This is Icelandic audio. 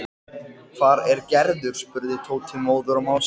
Hvar er Gerður? spurði Tóti, móður og másandi.